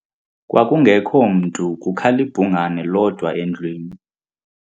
Kwakungekho mntu kukhal' ibhungane lodwa endlwini.